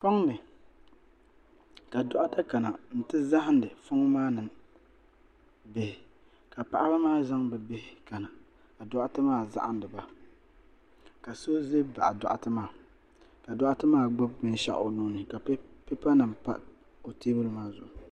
Foŋni ka doɣata kana n ti zahandi foŋ maa nima bihi ka paɣaba maa zaŋ bɛ bihi kana ka doɣate maa zahindiba ka so ʒɛn baɣi doɣate maa ka doɣate maa gbibi binshaɣu o nuuni ka pipa nima pa o teebuli maa zuɣu.